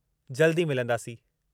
जल्द ई मिलंदासीं।